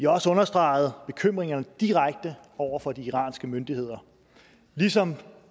også understreget bekymringerne direkte over for de iranske myndigheder ligesom